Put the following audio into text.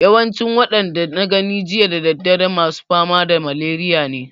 Yawancin waɗanda na gani jiya da daddare masu fama da maleriya ne